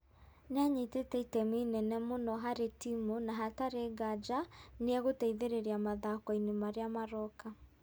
"Nĩ anyitĩte itemi inene mũno harĩ timo na hatarĩ nganja nĩ egũteithĩrĩria mathako-inĩ marĩa maroka.